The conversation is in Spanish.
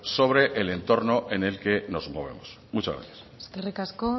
sobre el entorno en el que nos movemos muchas gracias eskerrik asko